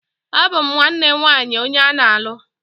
Abum nwanne nwaanyi onye ana-alu.